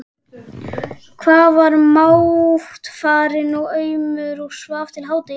Hann var máttfarinn og aumur og svaf til hádegis.